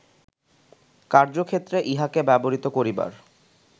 কার্য্যক্ষেত্রে ইহাকে ব্যবহৃত করিবার